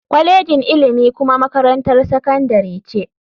Kwalejin ilimi kuma makarantar sakandare ce.